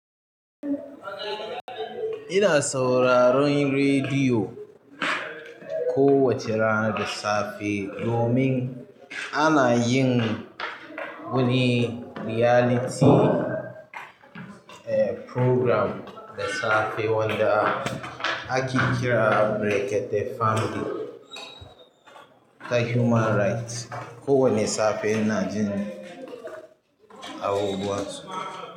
Ina sauraron rediyo kowace rana da safe domin ana yin wani reality program da safe wanda ake kira Berete Family da Human Rights. Ko wane safe ina jin abubuwan su.